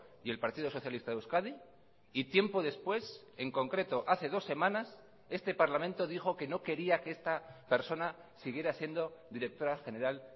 y el partido socialista de euskadi y tiempo después en concreto hace dos semanas este parlamento dijo que no quería que esta persona siguiera siendo directora general